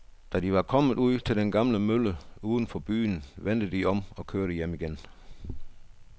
Da de var kommet ud til den gamle mølle uden for byen, vendte de om og kørte hjem igen.